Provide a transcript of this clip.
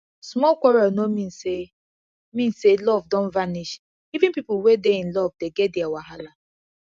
small quarrel no mean say mean say love don vanish even pipo wey dey in love dey get their wahala